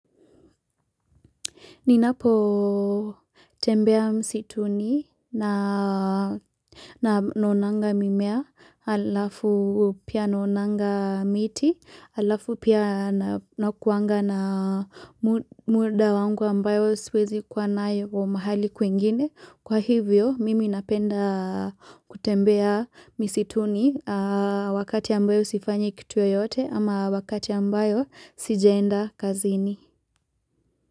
Ninapotembea msituni naonanga mimea alafu pia naonanga miti alafu pia na nakuanga na muda wangu ambayo siwezi kuwa nayo mahali kwingine kwa hivyo mimi napenda kutembea misituni wakati ambayo sifanyi kitu yoyote ama wakati ambayo sijaenda kazini.